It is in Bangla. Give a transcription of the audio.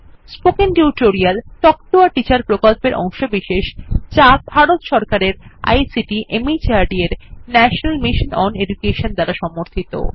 spoken tutorial talk to a teacher প্রকল্পের অংশবিশেষ যা ভারত সরকারের আইসিটি মাহর্দ এর ন্যাশনাল মিশন ওন এডুকেশন দ্বারা সমর্থিত